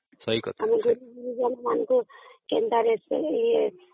ହଁ ଠିକ କଥା